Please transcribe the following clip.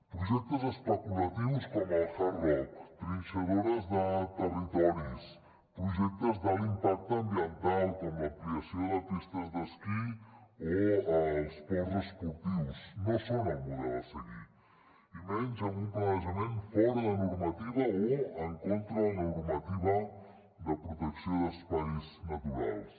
projectes especulatius com el hard rock trinxadores de territoris o projectes d’alt impacte ambiental com l’ampliació de pistes d’esquí o els ports esportius no són el model a seguir i menys amb un planejament fora de normativa o en contra de la normativa de protecció d’espais naturals